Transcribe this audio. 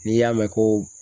N'i y'a mɛn ko